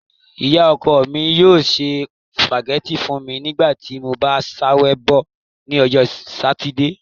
Iya-ọkọ mi yoo se spaghetti fun mi nigbati mo ba ṣabẹwo ni Ọjọ Satidee